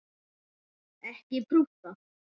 Ekki prútta!